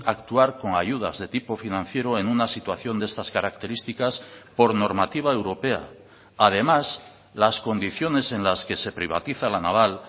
actuar con ayudas de tipo financiero en una situación de estas características por normativa europea además las condiciones en las que se privatiza la naval